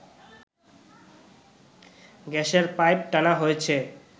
গ্যাসের পাইপ টানা হয়েছে